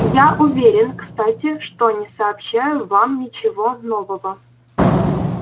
я уверен кстати что не сообщаю вам ничего нового